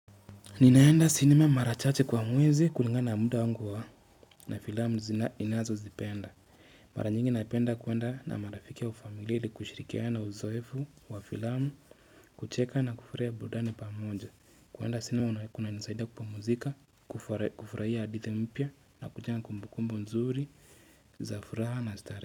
Ninaenda sinema mara chache kwa mwezi kulinga na muda wangu wa na filamu zina ninazozipenda. Mara nyingi napenda kuwenda na marafiki ya ufamiliili kushirikia na uzoefu wa filamu, kucheka na kufurahia burudani pamoja. Kwenda sinema kunizaidia kupumzika, kufurahia hadithi mpya na kujenga kumbu kumbu nzuri, za furaha na starehe.